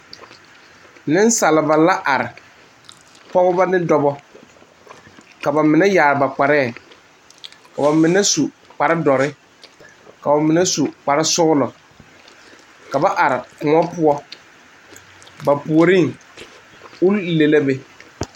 Nensaalba la are Pɔgebo ne dɔɔbo ka ba mine yaare ba kparee ka ba mine su kpare dɔre ka ba mine su kpare sɔglɔ ka ba are kõɔ poɔ ba puori uli leŋ la be.